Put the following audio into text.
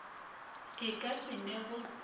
e ka se ne go